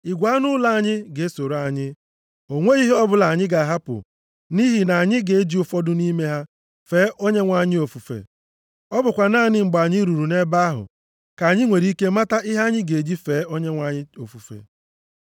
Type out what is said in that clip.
Igwe anụ ụlọ anyị ga-esoro anyị. O nweghị ihe ọ bụla anyị ga-ahapụ nʼihi na anyị ga-eji ụfọdụ nʼime ha fee Onyenwe anyị Chineke anyị ofufe. Ọ bụkwa naanị mgbe anyị ruru nʼebe ahụ ka anyị nwere ike ịmata ihe anyị ga-eji fee Onyenwe anyị anyị ofufe.”